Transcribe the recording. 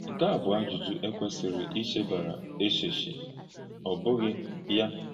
Nké à bụ̀ àjụ́jụ́ è kwèsìrì íchèbàrà èchéchì, ọ́ bùghì yá?